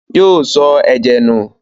Yóò sọ ẹ̀jẹ̀ nù?